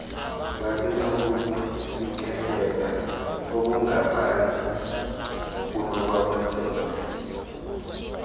babenokufikelela okungaphantsi kunokwamadoda